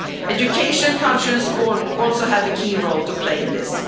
Education, culture and sport also have a key role to play in